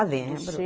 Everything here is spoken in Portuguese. Ah, lembro. Do